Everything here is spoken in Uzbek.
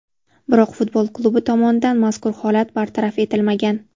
Biroq futbol klubi tomonidan mazkur holat bartaraf etilmagan.